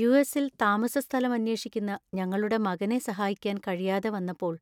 യു.എസ്.ൽ താമസസ്ഥലം അന്വേഷിക്കുന്ന ഞങ്ങളുടെ മകനെ സഹായിക്കാൻ കഴിയാതെ വന്നപ്പോൾ